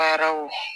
Baaraw